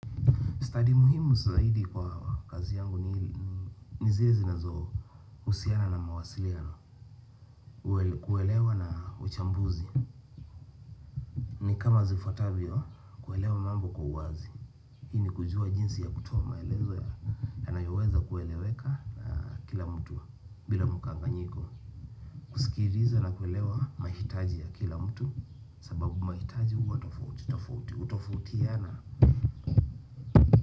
Study muhimu zaidi kwa kazi yangu ni ni zile zinazo husiana na mawasiliano. Kuelewa na uchambuzi. Ni kama zifuatavyo, kuelewa mambo kwa uwazi. Hii ni kujua jinsi ya kutoa maelezo yanayoweza kueleweka na kila mtu bila mkanga nyiko. Kusikiliza na kuelewa mahitaji ya kila mtu. Sababu mahitaji huwa tafouti tofauti hutofautiana.